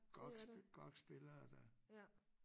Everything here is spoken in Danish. GOG GOG spillere der